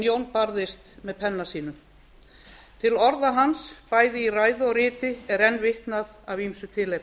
jón barðist með penna sínum til orða hans bæði í ræðu og riti er enn vitnað af ýmsu tilefni